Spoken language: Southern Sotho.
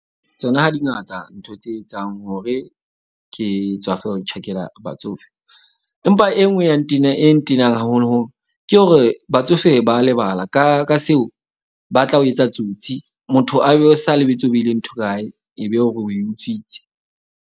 Tsona ha di ngata ntho tse etsang hore ke tswafe ho tjhakela batsofe. Empa e nngwe e e ntenang haholoholo. Ke hore batsofe ba lebala ka seo, ba tla o etsa tsotsi. Motho a be sa lebetse, ho beile ntho kae, ebe o re o e utswitse.